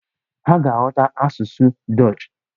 Ha ga-aghọta asụsụ dọọch.